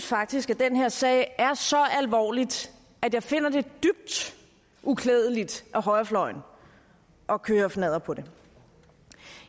faktisk at den her sag er så alvorlig at jeg finder det dybt uklædeligt af højrefløjen at køre fnadder på det